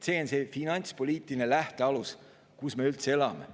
See on see finantspoliitiline lähtealus, kus me üldse elame.